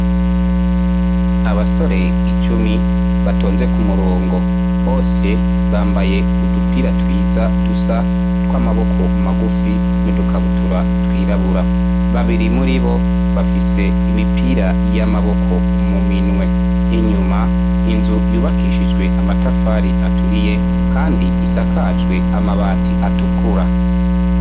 Abasore icumi batonze ku murongo bose bambaye udupira twiza dusa tw'amaboko magufi n'udukabutura twirabura babiri muri bo bafise imipira y' amaboko muminwe inyuma inzu yubakishijwe amatafari aturiye, kandi isakajwe amabati atukura.